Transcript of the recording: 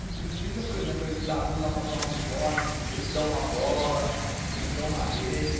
A gente precisa, por exemplo, eles ajudam a comprar um uniforme, eles dão uma bola, eles dão uma rede.